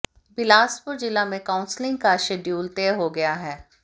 बिलासपुर जिला में काउंसिलिंग का शेड्यूल तय हो गया है